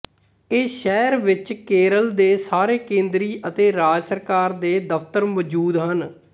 ਇਹ ਸ਼ਹਿਰ ਵਿੱਚ ਕੇਰਲ ਦੇ ਸਾਰੇ ਕੇਂਦਰੀ ਅਤੇ ਰਾਜ ਸਰਕਾਰ ਦੇ ਦਫ਼ਤਰ ਮੌਜੂਦ ਹਨ